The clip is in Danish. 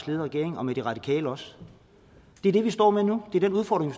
ledet regering og med de radikale også det er det vi står med nu det er den udfordring